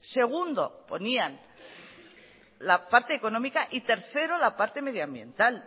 segundo ponían la parte económica y tercero la parte medioambiental